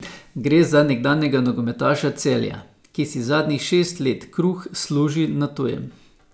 Gre za nekdanjega nogometaša Celja, ki si zadnjih šest let kruh služi na tujem.